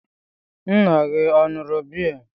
Nna gị ọ ṅụrụ biya?